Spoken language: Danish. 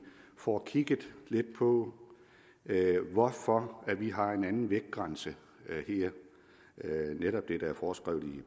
får kigget lidt på hvorfor vi har en anden vægtgrænse her netop det der er foreskrevet i